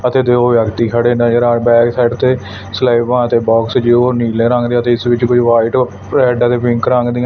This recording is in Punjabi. ਅਤੇ ਦੋ ਵਿਅਕਤੀ ਖੜੇ ਨਜ਼ਰ ਆ ਰਹੇ ਬਾਹਰ ਆਲੀ ਸਾਈਡ ਤੇ ਸਲੈਬਾਂ ਤੇ ਬੌਕਸ ਜੋ ਨੀਲੇ ਰੰਗ ਦੇ ਅਤੇ ਸਵਿੱਚ ਕੁਛ ਵ੍ਹਾਈਟ ਰੈੱਡ ਅਤੇ ਪਿੰਕ ਰੰਗ ਦੀਯਾਂ।